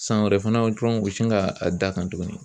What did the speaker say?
San wɛrɛ fana dɔrɔn u bɛsin ka a d'a kan tuguni